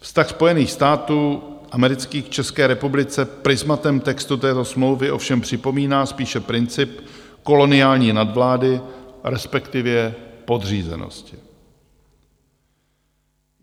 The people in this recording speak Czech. Vztah Spojených států amerických k České republice prizmatem textu této smlouvy ovšem připomíná spíše princip koloniální nadvlády, respektive podřízenosti.